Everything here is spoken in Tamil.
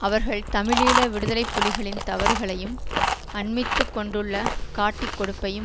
அவர்கள் தமிழீழ விடுதலை புலிகளின் தவறுகளையும் அண்மித்துக் கொண்டுள்ள காட்டிக் கொடுப்பையும்